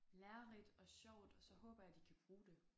Lærerigt og sjovt og så håber jeg de kan bruge det